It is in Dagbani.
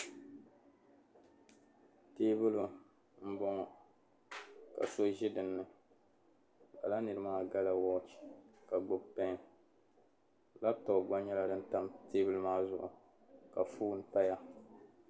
Teebuli m-bɔŋɔ ka so ʒi dinni ka lala niri maa gala waache ka gbubi "pen laptop" gba nyɛla din pa teebuli maa zuɣu ka fone paya.